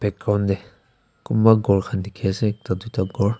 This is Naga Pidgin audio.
ground de kunba ghor kan diki ase ekta tuita ghor.